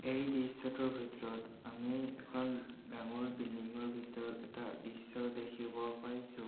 এই দৃশ্যটোৰ ভিতৰত আমি এখন ডাঙৰ বিল্ডিঙৰ ভিতৰত এটা দৃশ্য দেখিব পাইছোঁ।